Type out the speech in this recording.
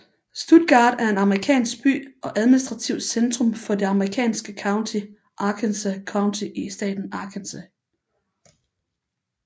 Stuttgart er en amerikansk by og administrativt centrum for det amerikanske county Arkansas County i staten Arkansas